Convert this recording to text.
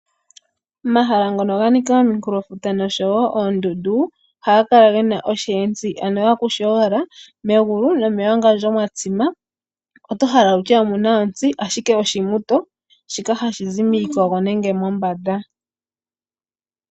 Omahala ngono ga nika ominkulofuta noshowo oondundu ohaga kala gena oshiyetsi ano akushe owala ,megulu nomewangandjo mwa tsima, oto hala wutye omuna ontsi ashike oshimuto shoka hashi zi miikogo nenge mombanda.